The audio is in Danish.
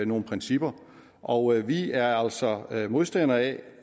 nogle principper og vi er altså modstandere af